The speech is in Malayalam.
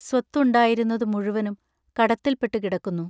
സ്വത്തുണ്ടായിരുന്നതു മുഴുവനും കടത്തിൽപ്പെട്ടു കിടക്കുന്നു.